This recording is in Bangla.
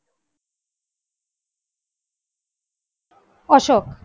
অশোক